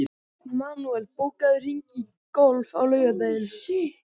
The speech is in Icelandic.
Manuel, bókaðu hring í golf á laugardaginn.